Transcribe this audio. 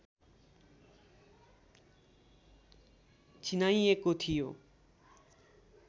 चिनाइएको थियो